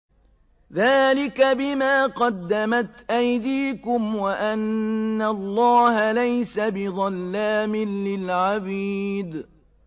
ذَٰلِكَ بِمَا قَدَّمَتْ أَيْدِيكُمْ وَأَنَّ اللَّهَ لَيْسَ بِظَلَّامٍ لِّلْعَبِيدِ